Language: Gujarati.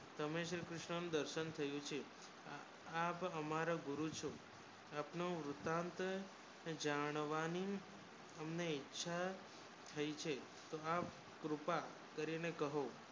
તમને શ્રી કૃષ્ણ નુ દર્શન થયુ છે આપ અમારો ગુરુ છો અપનવ રૂતાંત જાણવાની અમને ઈચ્છા થાઈ છે તો આપ કૃપા કરી ને કહો